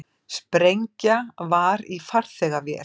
Sprengja var í farþegavél